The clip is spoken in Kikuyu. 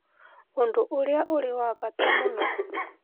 ũndũ urĩa ũrĩ wa bata mũno